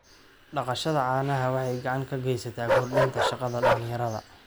Dhaqashada caanaha waxay gacan ka geysataa kordhinta shaqada dhalinyarada.